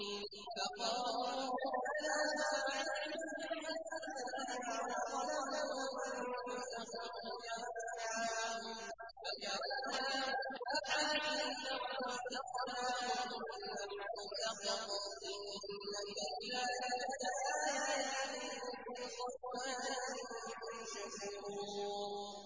فَقَالُوا رَبَّنَا بَاعِدْ بَيْنَ أَسْفَارِنَا وَظَلَمُوا أَنفُسَهُمْ فَجَعَلْنَاهُمْ أَحَادِيثَ وَمَزَّقْنَاهُمْ كُلَّ مُمَزَّقٍ ۚ إِنَّ فِي ذَٰلِكَ لَآيَاتٍ لِّكُلِّ صَبَّارٍ شَكُورٍ